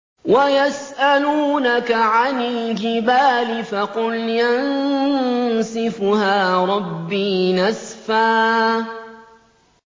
وَيَسْأَلُونَكَ عَنِ الْجِبَالِ فَقُلْ يَنسِفُهَا رَبِّي نَسْفًا